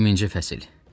20-ci fəsil.